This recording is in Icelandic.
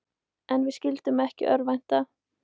En við skyldum ekki örvænta.